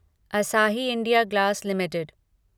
असाही India glass Ltd